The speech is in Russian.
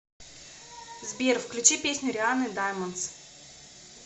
сбер включи песню рианны даймондс